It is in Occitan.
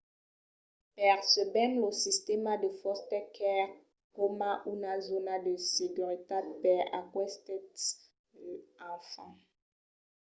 percebèm lo sistèma de foster care coma una zòna de seguretat per aquestes enfants